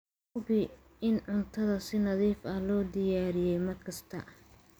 Hubi in cuntada si nadiif ah loo diyaariyey mar kasta.